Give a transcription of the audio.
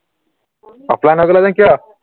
offline হৈ গলা যে কিয়